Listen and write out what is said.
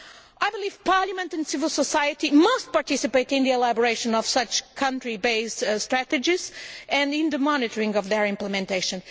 I believe Parliament and civil society must participate in the elaboration of such country based strategies and in the monitoring of their implementation.